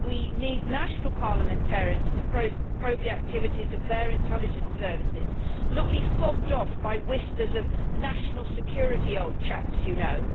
We need national parliamentarians to probe the activities of their intelligence services, and not be fobbed off by whispers of national security, old chaps, you know'.